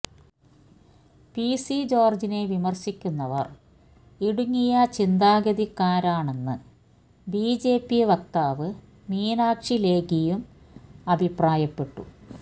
P C ജോര്ജിനെ വിമര്ശിക്കുന്നവര് ഇടുങ്ങിയ ചിന്താഗതിക്കാരാണെന്ന് ബി ജെ പി വക്താവ് മീനാക്ഷി ലേഖിയും അഭിപ്രായപ്പെട്ടു